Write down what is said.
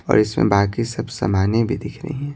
और इसमें बाकी सब सामानें भी दिख रही हैं।